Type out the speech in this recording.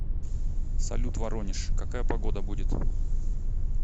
салют воронеж какая погода будет